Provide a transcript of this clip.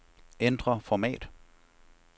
Ændr format.